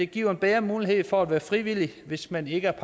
giver en bedre mulighed for at være frivillig hvis man ikke er